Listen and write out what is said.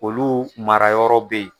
Olu marayɔrɔ bɛ yen